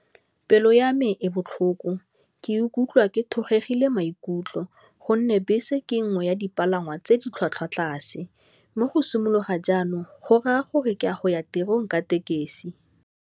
Vele siyame ebusuku ngikuphi hy ke thokgo erhelebha yikondlo ukghone nebhesi kutsengo uyalibala wagcina taxi museums lokha njani okukghonekako ke kuyakghona madika gadesi.